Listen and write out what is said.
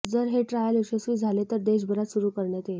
जर हे ट्रायल यशस्वी झाले तर देशभरात सुरू करण्यात येईल